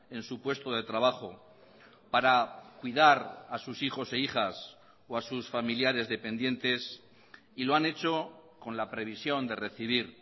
en su puesto de trabajo para cuidar a sus hijos e hijas o a sus familiares dependientes y lo han hecho con la previsión de recibir